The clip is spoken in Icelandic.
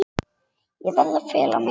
Ég verð að fela mig.